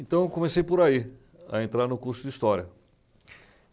Então eu comecei por aí, a entrar no curso de História.